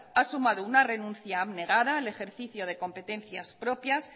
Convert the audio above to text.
ha sumado una renuncia abnegada al ejercicio de competencias propias